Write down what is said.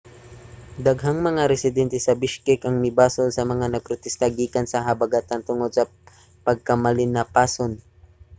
daghang mga residente sa bishkek ang mibasol sa mga nagprotesta gikan sa habagatan tungod sa pagkamalinapason